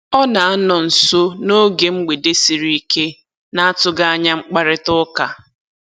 Ọ na-anọ nso n'oge mgbede sịrị ike na-atụghị anya mkparịtaụka